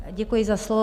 Děkuji za slovo.